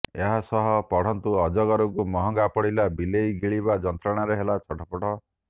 ଏହାସହ ପଢନ୍ତୁ ଅଜଗରକୁ ମହଙ୍ଗା ପଡିଲା ବିଲେଇ ଗିଳିବା ଯନ୍ତ୍ରଣାରେ ହେଲା ଛଟପଟ